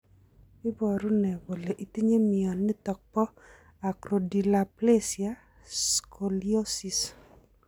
Iporu ne kole itinye mioniton po Acrodysplasia scoliosis.